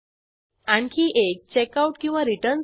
success return page हे success checkout पेजप्रमाणेच आहे